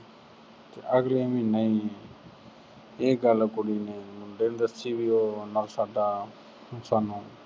ਤੇ ਅਗਲੇ ਮਹੀਨੇ ਈ ਇਹ ਗੱਲ ਕੁੜੀ ਨੇ ਮੁੰਡੇ ਨੂੰ ਦੱਸੀ ਵੀ ਉਹ owner ਸਾਡਾ ਅਹ ਸਾਨੂੰ